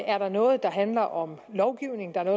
er noget der handler om lovgivning og der